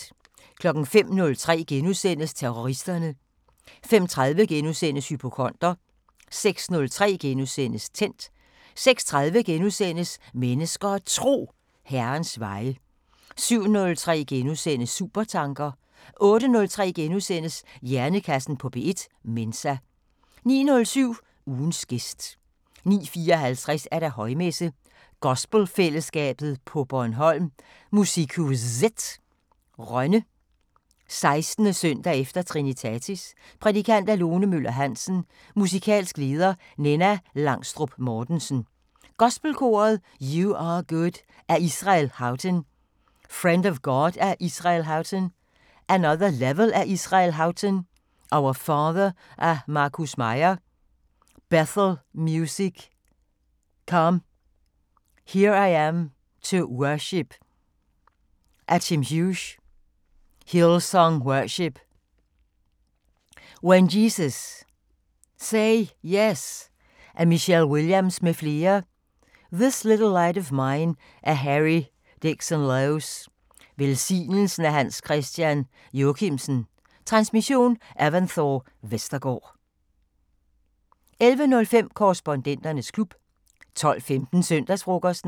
05:03: Terroristerne * 05:30: Hypokonder * 06:03: Tændt * 06:30: Mennesker og Tro: Herrens veje * 07:03: Supertanker * 08:03: Hjernekassen på P1: Mensa * 09:07: Ugens gæst 09:54: Højmesse - Gospelfællesskabet på Bornholm, MusikhuZet, Rønne. 16. søndag efter Trinitatis. Prædikant: Lone Møller-Hansen. Musikalsk leder: Ninna Langstrup Mortensen, Gospelkoret. "You are good" af Israel Houghton. "Friend of God" af Israel Houghton. "Another level" af Israel Houghton. "Our Father" af Marcus Meier, Bethel Music com. "Here I am to worship" af Tim Hughes, Hillsong Worship. "When Jesus say yes" af Michelle Williams m.fl. "This little light of mine" af Harry Dickson Loes. "Velsignelsen" af Hans Christian Jochimsen. Transmission: Evanthore Vestergaard. 11:05: Korrespondenternes klub 12:15: Søndagsfrokosten